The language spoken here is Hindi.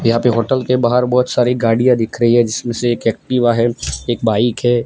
यहां पे होटल के बाहर बहोत सारी गाड़ियां दिख रही है जिसमें से एक एक्टिवा है एक बाइक है।